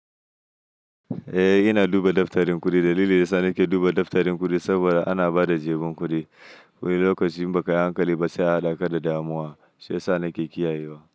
Eh ina duba daftarin kuɗi, dalilin sa nake duba daftarin kuɗi saboda ana ba da jemin kuɗi wani lokacin ba kayan ƙali ba sai haɗakar da damuwa shiyasa nake kiyayewa.